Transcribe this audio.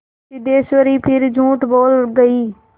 सिद्धेश्वरी फिर झूठ बोल गई